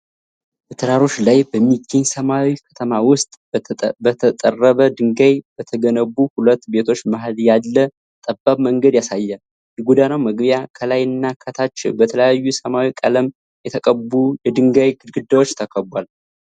በተራሮች ላይ በሚገኝ ሰማያዊ ከተማ ውስጥ በተጠረበ ድንጋይ በተገነቡ ሁለት ቤቶች መሃል ያለ ጠባብ መንገድ ያሳያል። የጎዳናው መግቢያ ከላይና ከታች በተለያዩ ሰማያዊ ቀለም የተቀቡ የድንጋይ ግድግዳዎች ተከቧል።